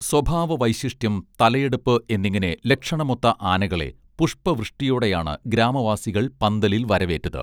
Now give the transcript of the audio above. സ്വഭാവ വൈശിഷ്ട്യം തലയെടുപ്പ് എന്നിങ്ങനെ ലക്ഷണമൊത്ത ആനകളെ പുഷ്പ വൃഷ്ടിയോടെയാണ് ഗ്രാമവാസികൾ പന്തലിൽ വരവേറ്റത്